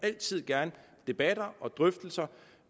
altid gerne debatter og drøftelser